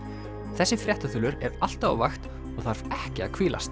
þessi fréttaþulur er alltaf á vakt og þarf ekki að hvílast